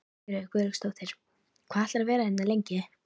Sigríður Guðlaugsdóttir: Hvað ætlarðu að vera hérna lengi?